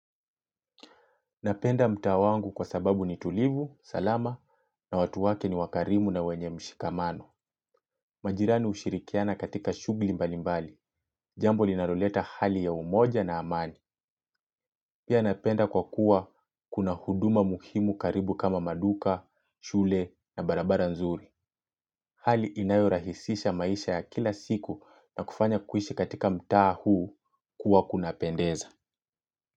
Napenda mtaa wangu kwa sababu ni tulivu, salama na watu wake ni wakarimu na wenye mshikamano. Majirani hushirikiana katika shughuli mbalimbali. Jambo linaloleta hali ya umoja na amani. Pia napenda kwa kuwa kuna huduma muhimu karibu kama maduka, shule na barabara nzuri. Hali inayorahisisha maisha ya kila siku na kufanya kuishi katika mtaa huu kuwa kuna pendeza.